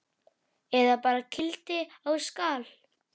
Eða bara kýlt á skalla!